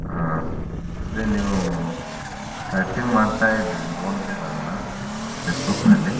ಅಹ್ ಅದೇ ನೀವು chatting ಮಾಡ್ತಾಯಿದ್ರಿ ನೋಡ್ದೆ ನಾನ್ Facebook ನಲ್ಲಿ.